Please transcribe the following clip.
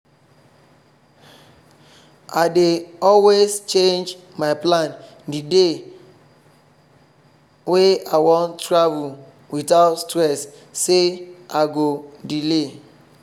i dey always change my plan the day wey i wan travel without stress say i go delay